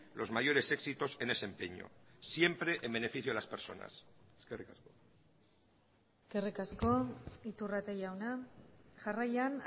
los mayores éxitos en ese empeño siempre en beneficio de las personas eskerrik asko eskerrik asko iturrate jauna jarraian